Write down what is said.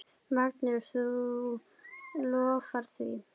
Magnús: Þú lofar því?